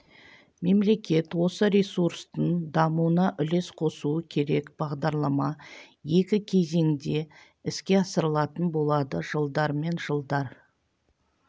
мемлекет осы ресурстың дамуына үлес қосуы керек бағдарлама екі кезеңде іске асырылатын болады жылдар мен жылдар